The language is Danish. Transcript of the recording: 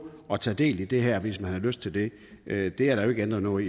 og tage del i det her hvis man har lyst til det det det er der jo ikke ændret noget